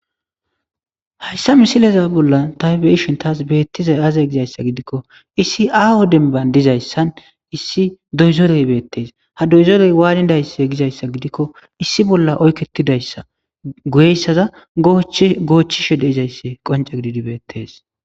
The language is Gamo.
hayssa misileza bolla taybeishon taas beettizay aazay gizayssa gidikko issi a o denban dizayssan issi doyzoley beettees ha doyzoley waanidaysse gizayssa gidikko issi bolla oykketidayssa goyessaza goochchishe deizayssi qonca gididibeettes